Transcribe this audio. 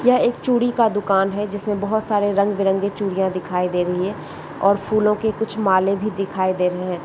यह एक चूड़ी का दुकान है जिसमें बहोत सारे रंग बिरंगे चूड़ियां दिखाई दे रहीं हैं और फूलों के कुछ मालें भी दिखाई दे रहे है।